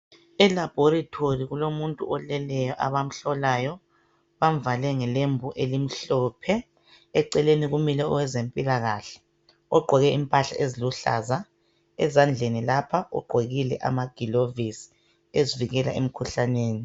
E laboratory kulomuntu oleleyo abamhlolayo bamvale ngelembu elimhlophe eceleni kumile owezempilakahle ogqoke impahla eziluhlaza ezandleni lapha ugqokile amagilovisi ezivikela emkhuhlaneni.